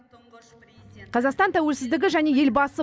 қазақстан тәуелсіздігі және елбасы